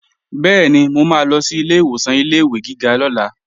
Bẹ́ẹ̀ni, mo máa lọ sí ilé ìwòsàn ilé-ìwé gíga lọ́la